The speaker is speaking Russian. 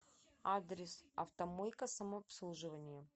адрес автомойка самообслуживания